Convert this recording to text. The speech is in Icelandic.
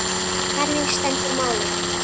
Þannig stendur málið.